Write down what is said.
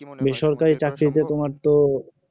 বেসরকারি চাকরি তে তোমার তো